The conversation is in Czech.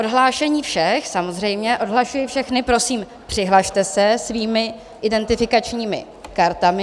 Odhlášení všech samozřejmě, odhlašuji všechny, prosím, přihlaste se svými identifikačními kartami.